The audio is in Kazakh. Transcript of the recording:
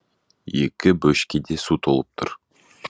екі бөшкеде су толып тұр